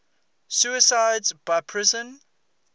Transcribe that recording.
suicides by poison